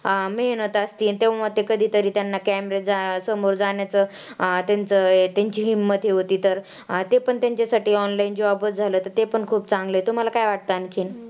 मेहनत असती अन तेव्हा ते कधीतरी त्यांना कॅमेरे समोर जाण्याचं अं तेंचं तेंची हिंमत हे होती तर ते पण तेंच्यासाठी online job च झालं तर ते पण खूप चांगलं आहे तुम्हाला काय वाटतं आणखीन?